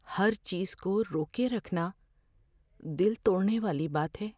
ہر چیز کو روکے رکھنا دل توڑنے والی بات ہے۔